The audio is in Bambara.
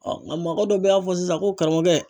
a mɔkɛ dɔ bɛ y'a fɔ sisan ko karamɔgɔkɛ